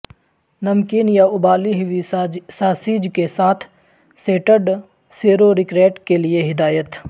نمکین یا ابلی ہوئی ساسیج کے ساتھ سٹرڈ سیرورکریٹ کے لئے ہدایت